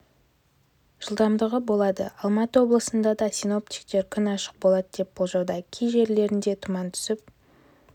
жылдамдығы болады алматы облысында да синоптиктер күн ашық болады деп болжауда кей жерлерінде тұман түсіп